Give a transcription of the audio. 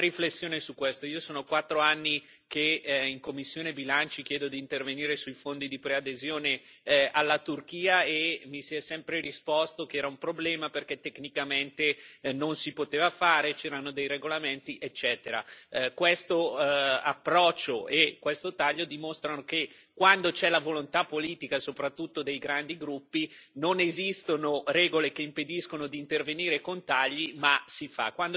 Una riflessione su questo io sono quattro anni che in commissione per bilanci chiedo di intervenire sui fondi di preadesione alla Turchia, e mi si è sempre risposto che era un problema, perché tecnicamente non si poteva fare, c'erano dei regolamenti, eccetera. Questo approccio e questo taglio dimostrano che, quando c'è la volontà politica, soprattutto dei grandi gruppi, non esistono regole che impediscono di intervenire con tagli, ma si fa.